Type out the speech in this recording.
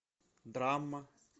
драма